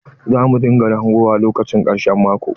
Za mu dinga hangowa lokacin ƙarshen maƙo.